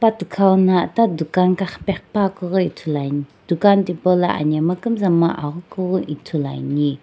athikau no ita dukan kaqhipeqhipuakeu ithuluan dukan tipaulo anhemgha kumzapukumo avukhu ghi ithuluani.